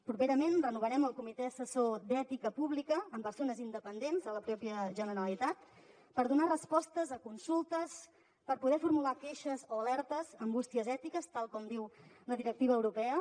properament renovarem el comitè assessor d’ètica pública amb persones independents a la pròpia generalitat per donar respostes a consultes per poder formular queixes o alertes amb bústies ètiques tal com diu la directiva europea